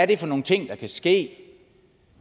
det er for nogle ting der kan ske